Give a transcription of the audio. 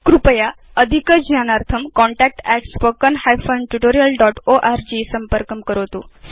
कृपया अधिकज्ञानार्थं contact at spoken hyphen tutorial dot org संपर्कं करोतु